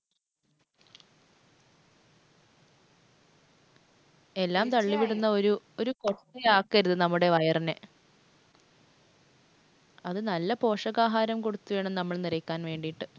എല്ലാം തള്ളിവിടുന്ന ഒരു കൊട്ടയാക്കരുത് നമ്മുടെ വയറിനെ. അത് നല്ല പോഷകാഹാരം കൊടുത്ത് വേണം നമ്മള്‍ നിറയ്ക്കാന്‍ വേണ്ടിട്ട്.